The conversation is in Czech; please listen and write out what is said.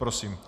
Prosím.